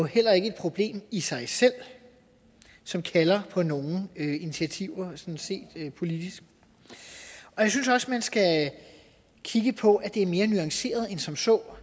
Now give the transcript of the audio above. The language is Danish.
heller ikke et problem i sig selv som kalder på nogen initiativer politisk jeg synes også man skal kigge på at det er mere nuanceret end som så